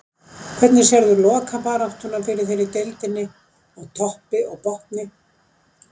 Hvernig sérðu lokabaráttuna fyrir þér í deildinni, á toppi og botni?